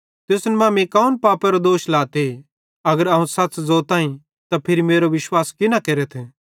तुसन मां मीं कौन पापेरो दोष लाते अगर अवं सच़ ज़ोताईं त फिरी मेरो विश्वास की न केरथ